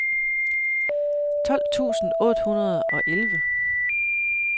tolv tusind otte hundrede og elleve